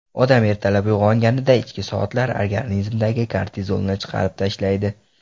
Odam ertalab uyg‘onganida ichki soatlar organizmdagi kortizolni chiqarib tashlaydi.